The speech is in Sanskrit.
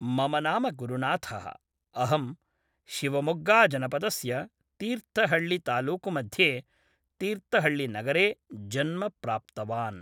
मम नाम गुरुनाथः, अहं शिवमोग्गाजनपदस्य तीर्थहल्लितालूकुमध्ये तीर्थहल्लिनगरे जन्म प्राप्तवान्